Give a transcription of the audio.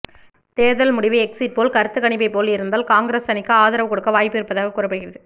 தேர்தல் முடிவு எக்சிட்போல் கருத்துக்கணிப்பை போல் இருந்தால் காங்கிரஸ் அணிக்கு ஆதரவு கொடுக்க வாய்ப்பு இருப்பதாக கூறப்படுகிறது